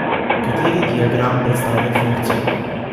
Kateri diagram predstavlja funkcijo?